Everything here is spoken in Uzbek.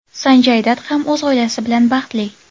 Sanjay Dat ham o‘z oilasi bilan baxtli.